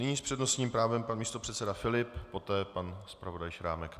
Nyní s přednostním právem pan místopředseda Filip, poté pan zpravodaj Šrámek.